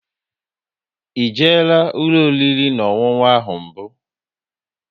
E jela ụlọ oriri na ọṅụṅụ ahụ mbụ?